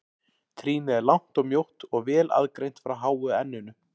Trýnið er langt og mjótt og vel aðgreint frá háu enninu.